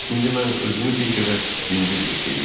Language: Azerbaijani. İndi mən özümü bir qədər yüngül hiss eləyirdim.